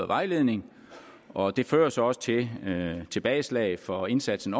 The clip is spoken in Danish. vejledning og det fører så også til tilbageslag for indsatsen